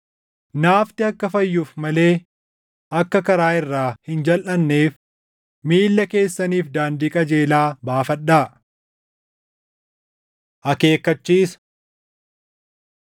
Naafti akka fayyuuf malee akka karaa irraa hin jalʼanneef, “Miilla keessaniif daandii qajeelaa baafadhaa.” + 12:13 \+xt Fak 4:26\+xt* Akeekkachiisa